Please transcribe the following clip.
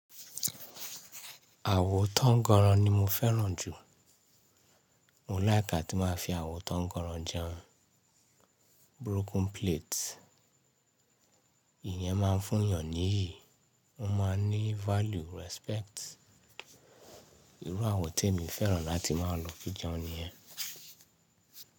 Àwo tánnganran ni mo fẹ́ràn jù. Mò láìk átí máa fi àwo tánnganran jẹun. Broken plate. Ìyẹn máa ń fún yàn níyì, ó máa ń ní value, respect. Irú àwo tí èmi fẹ́ràn láti máa lò fi jẹun nìyẹn.